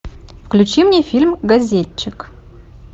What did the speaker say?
включи мне фильм газетчик